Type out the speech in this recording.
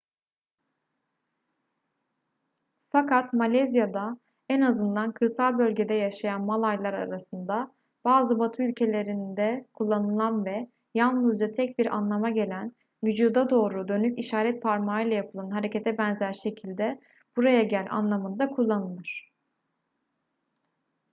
fakat malezya'da en azından kırsal bölgede yaşayan malaylar arasında bazı batı ülkelerinde kullanılan ve yalnızca tek bir anlama gelen vücuda doğru dönük işaret parmağıyla yapılan harekete benzer şekilde buraya gel anlamında kullanılır